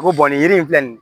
Ko nin yiri in filɛ nin ye